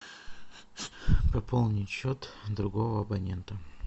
пополнить счет другого абонента